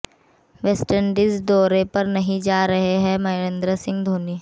West Indies दौरे पर नहीं जा रहे हैं महेंद्र सिंह धोनी